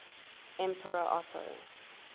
emperor otto